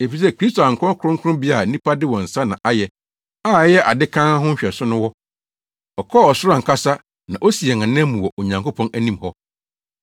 Efisɛ Kristo ankɔ kronkronbea a nnipa de wɔn nsa na ayɛ a ɛyɛ ade kann ho nhwɛso no hɔ. Ɔkɔɔ ɔsoro ankasa na osi yɛn anan mu wɔ Onyankopɔn anim hɔ.